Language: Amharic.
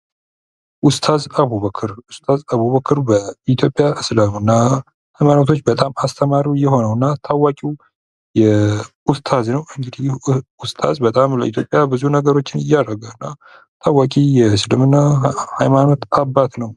ኡስታዝ አቡበከር፤ ኡስታዝ አቡበክር በኢትዮጵያ እስልምና ሃይማኖቶች በጣም አስተማሪ የሆነውና ታዋቂው ኡስታዝ ነው። እንግዲህ ኡስታዝ በጣም ለኢትዮጵያ ብዙ ነገሮችን እያደረገ ነው። ታዋቂ የእስልምና ሐይማኖት አባት ነው።